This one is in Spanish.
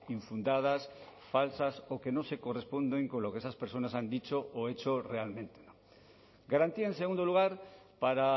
infundadas falsas o que no se corresponden con lo que esas personas han dicho o he hecho realmente garantía en segundo lugar para